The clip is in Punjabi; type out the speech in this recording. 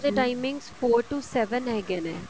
ਦੇ timing four to seven ਹੈਗੇ ਨੇ